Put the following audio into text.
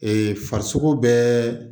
farisogo bɛɛ